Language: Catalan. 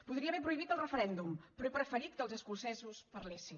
podria haver prohibit el referèndum però he preferit que els escocesos parlessin